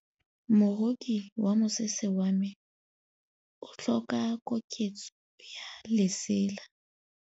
Moroki wa mosese wa me o tlhoka koketsô ya lesela.